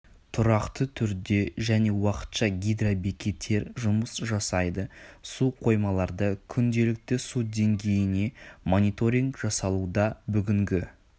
тұрақты түрде және уақытша гидробекеттер жұмыс жасайды су қоймаларда күнделікті су деңгейіне мониторинг жасалуда бүгінгі